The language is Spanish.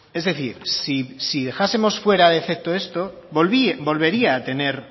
es decir si dejásemos fuera de efecto esto